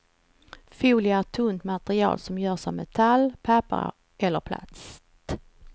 Folie är ett tunt material som görs av metall, papper eller plast.